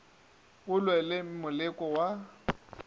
o lwe le moleko wa